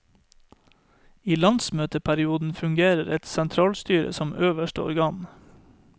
I landsmøteperiodene fungerer et sentralstyre som øverste organ.